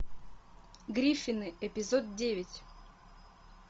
гриффины эпизод девять